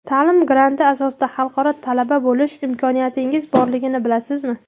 Ta’lim granti asosida xalqaro talaba bo‘lish imkoniyatingiz borligini bilasizmi?.